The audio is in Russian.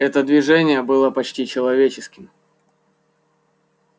это движение было почти человеческим